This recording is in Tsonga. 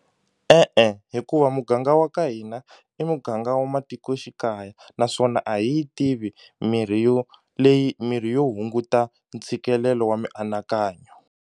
E-e, hikuva muganga wa ka hina i muganga wa matikoxikaya naswona a hi yi tivi mirhi yo leyi mirhi yo hunguta ntshikelelo wa mianakanyo.